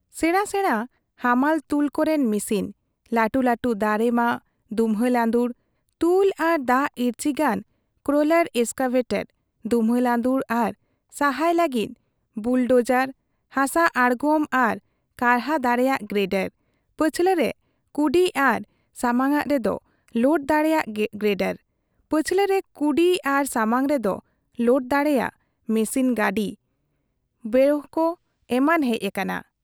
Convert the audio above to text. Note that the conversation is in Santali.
ᱥᱮᱬᱟ ᱥᱮᱬᱟ ᱦᱟᱢᱟᱞ ᱛᱩᱞ ᱠᱚ ᱨᱮᱱ ᱢᱤᱥᱤᱱ, ᱞᱟᱹᱴᱩ ᱞᱟᱹᱴᱩ ᱫᱟᱨᱮ ᱢᱟᱜ , ᱫᱩᱢᱦᱟᱹ ᱺ ᱞᱟᱺᱫᱩᱲ , ᱛᱩᱞ ᱟᱨ ᱫᱟᱜ ᱤᱨᱪᱤ ᱜᱟᱱ ᱠᱨᱚᱞᱚᱨ ᱮᱥᱠᱟᱵᱷᱮᱴᱚᱨ, ᱫᱩᱢᱦᱟᱹ ᱞᱟᱺᱫᱩᱲ ᱟᱨ ᱥᱟᱦᱟᱭ ᱞᱟᱹᱜᱤᱫ ᱵᱩᱞᱰᱚᱡᱟᱨ, ᱦᱟᱥᱟ ᱟᱬᱜᱚᱢ ᱟᱨ ᱠᱟᱨᱦᱟ ᱫᱟᱲᱮᱭᱟᱜ ᱜᱨᱮᱰᱚᱨ, ᱯᱟᱹᱪᱷᱞᱟᱹ ᱨᱮ ᱠᱩᱰᱤ ᱟᱨ ᱥᱟᱢᱟᱟᱝ ᱨᱮᱫᱚ ᱞᱳᱰ ᱫᱟᱲᱮᱭᱟᱜ ᱜᱨᱮᱰᱚᱨ, ᱯᱟᱪᱷᱞᱟᱹ ᱨᱮ ᱠᱩᱰᱤ ᱟᱨ ᱥᱟᱢᱟᱝ ᱨᱮᱫᱚ ᱞᱚᱫ ᱫᱟᱲᱮᱭᱟᱜ ᱢᱮᱥᱤᱱ ᱜᱟᱹᱰᱤ ᱵᱮᱠᱦᱳ, ᱮᱢᱟᱱ ᱦᱮᱡ ᱟᱠᱟᱱᱟ ᱾